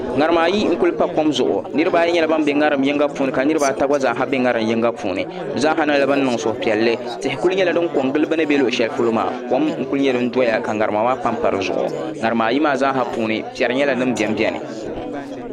ŋarima ayi nku pa kom zuɣu niraba ayi nyɛla bin bɛ ŋarim yinga puuni ka niraba ata gba bɛ yinga puuni bi zaa nyɛla bin niŋ suhupiɛlli tihi ku nyɛla din ko n giliba bin bɛ luɣu shɛli polo maa tihi n ku ko n giliba ŋarima ayi maa zaa ha puuni piɛri nyɛla din biɛni